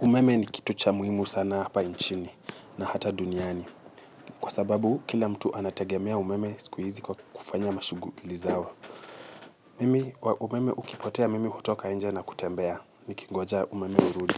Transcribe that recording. Umeme ni kitu cha muhimu sana hapa nchini na hata duniani. Kwa sababu kila mtu anategemea umeme siku hizi kwa kufanya mashuguli zao. Mimi kwa umeme ukipotea hutoka nje kutembea. Ni kingoja umeme urudi.